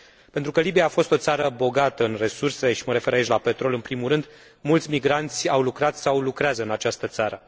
Pentru că Libia a fost o țară bogată în resurse, și mă refer aici la petrol, în primul rând, mulți migranți au lucrat sau lucrează în această țară.